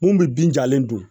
Mun bɛ bin jalen dun